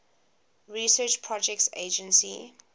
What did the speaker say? research projects agency